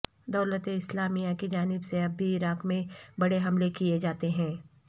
دولت اسلامیہ کی جانب سے اب بھی عراق میں بڑے حملے کیے جاتے ہیں